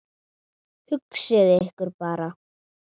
Hugsið ykkur bara!